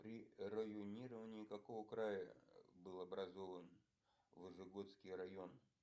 при районировании какого края был образован вожегодский район